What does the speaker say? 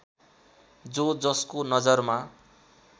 जो जसको नजरमा